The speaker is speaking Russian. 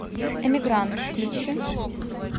эмигрант включи